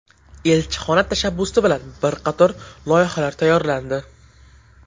Elchixona tashabbusi bilan bir qator loyihalar tayyorlandi.